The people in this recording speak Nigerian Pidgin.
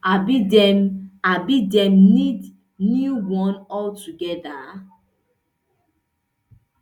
abi dem abi dem need new one all togeda